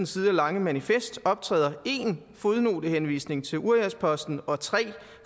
sider lange manifest optræder en fodnotehenvisning til uriasposten og tre